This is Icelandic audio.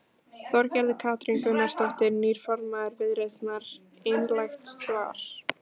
Þorgerður Katrín Gunnarsdóttir, nýr formaður Viðreisnar: Einlægt svar?